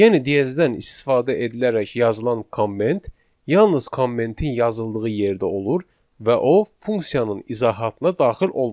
Yəni diezdən istifadə edilərək yazılan komment yalnız kommentin yazıldığı yerdə olur və o funksiyanın izahatına daxil olmur.